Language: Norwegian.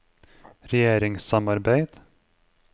regjeringssamarbeid